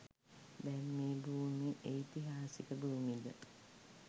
දැන් මේ භූමි එයිතිහාසික භූමිද?